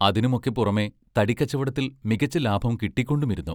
അതിനുമൊക്കെ പുറമേ തടിക്കച്ചവടത്തിൽ മികച്ച ലാഭം കിട്ടിക്കൊണ്ടുമിരുന്നു.